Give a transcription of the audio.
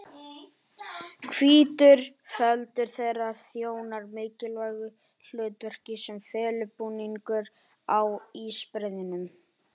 Hvítur feldur þeirra þjónar mikilvægu hlutverki sem felubúningur á ísbreiðunum.